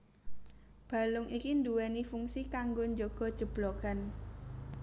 Balung iki nduweni fungsi kanggo njaga jeblogan